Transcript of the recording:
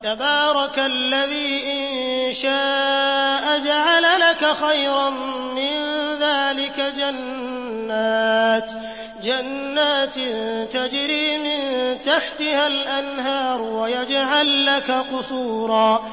تَبَارَكَ الَّذِي إِن شَاءَ جَعَلَ لَكَ خَيْرًا مِّن ذَٰلِكَ جَنَّاتٍ تَجْرِي مِن تَحْتِهَا الْأَنْهَارُ وَيَجْعَل لَّكَ قُصُورًا